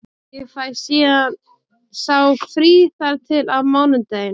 Ég fæ síðan sá frí þar til á mánudaginn.